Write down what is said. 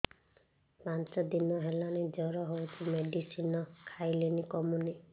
ପାଞ୍ଚ ଦିନ ହେଲାଣି ଜର ହଉଚି ମେଡିସିନ ଖାଇଲିଣି କମୁନି